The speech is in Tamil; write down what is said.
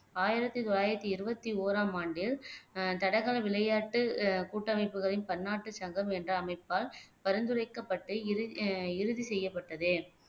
ஆயிரத்தி தொள்ளாயிரத்தி இருபத்தி ஓராம் ஆண்டில் ஆஹ் தடகள விளையாட்டு அஹ் கூட்டமைப்புகளின் பன்னாட்டு சங்கம் என்ற அமைப்பால் பரிந்துரைக்கப்பட்டு இறு அஹ் இறுதி செய்யப்பட்டது